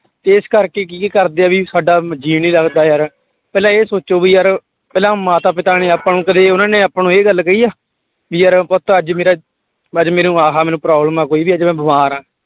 ਤੇ ਇਸ ਕਰਕੇ ਕੀ ਕਰਦੇ ਆ ਵੀ ਸਾਡਾ ਜੀਅ ਨੀ ਲੱਗਦਾ ਯਾਰ, ਪਹਿਲਾਂ ਇਹ ਸੋਚੋ ਵੀ ਯਾਰ ਪਹਿਲਾਂ ਮਾਤਾ ਪਿਤਾ ਨੇ ਆਪਾਂ ਨੂੰ ਕਦੇ ਉਹਨਾਂ ਨੇ ਆਪਾਂ ਨੂੰ ਇਹ ਗੱਲ ਕਹੀ ਆ, ਵੀ ਯਾਰ ਪੁੱਤ ਅੱਜ ਮੇਰਾ ਅੱਜ ਮੈਨੂੰ ਆਹ ਮੈਨੂੰ problem ਆ ਕੋਈ ਵੀ ਅੱਜ ਮੈਂ ਬਿਮਾਰ ਹਾਂ।